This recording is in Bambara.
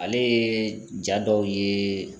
Ale ye ja dɔw ye